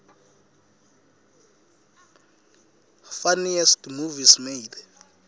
funniest movies made